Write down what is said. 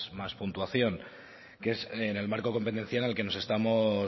más puntuación que es en el marco competencial en el que nos estamos